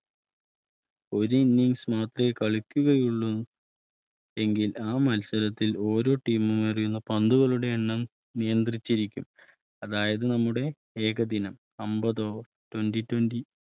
ഒരു Innings കൾ മാത്രമേ കളിക്കുകയുള്ളൂ എങ്കിൽ ആ മത്സരത്തിൽ ഓരോ Team കളും ഏറിയുന്ന പന്തുകളുടെ എണ്ണംനിയന്ത്രിച്ചിരിക്കും അതായത്നമ്മുടെ ഏകദിനംഅമ്പത് Over Twenty Twenty